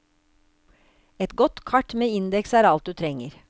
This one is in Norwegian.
Et godt kart med indeks er alt du trenger.